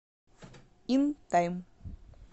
ин тайм